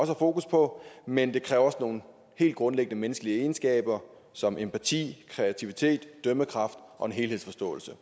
fokus på men det kræver også nogle helt grundlæggende menneskelige egenskaber som empati kreativitet dømmekraft og en helhedsforståelse